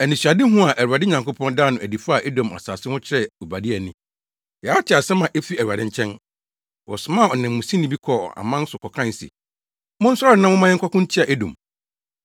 Anisoadehu a Awurade Nyankopɔn daa no adi faa Edom asase ho kyerɛɛ Obadia ni: Yɛate asɛm a efi Awurade nkyɛn. Wɔsomaa ɔnanmusini bi kɔɔ aman so kɔkae se, “Monsɔre na momma yɛnkɔko ntia Edom.”